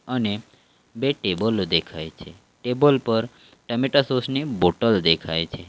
અને બે ટેબલો દેખાય છે ટેબલ પર ટમેટા સોસ ની બોટલ દેખાય છે.